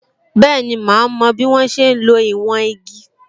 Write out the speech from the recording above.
Bẹẹni, ma mo bí wọ́n ṣe ń lo ìwọ̀n igi